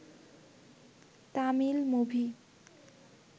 Tamil movie